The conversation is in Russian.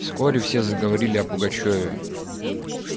вскоре все заговорили о пугачёве